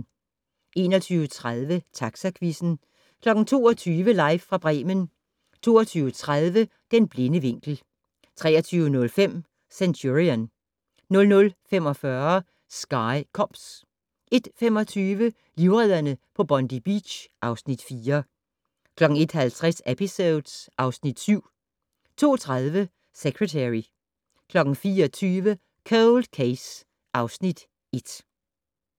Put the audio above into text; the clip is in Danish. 21:30: Taxaquizzen 22:00: Live fra Bremen 22:30: Den blinde vinkel 23:05: Centurion 00:45: Sky Cops 01:25: Livredderne på Bondi Beach (Afs. 4) 01:50: Episodes (Afs. 7) 02:30: Secretary 04:20: Cold Case (Afs. 1)